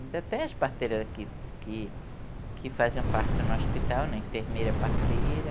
Ainda tem as parteiras que, que, que fazem parte no hospital, na enfermeira parteira.